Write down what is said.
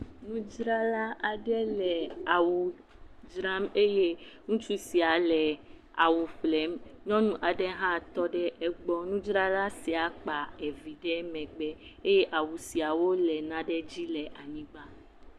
Nudzrala aɖe le awu dzram eye ŋutsu sia le awu ƒlem. Nyɔnua aɖe hã tɔ ɖe egbɔ. Nudzrala sia kpa evi ɖe megbe eye awu siawo le nane dzi le anyigba.